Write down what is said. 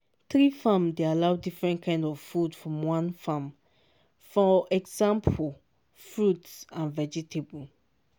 tree farm dey allow different kind of food from one farm – for exampo fruit and vegetable.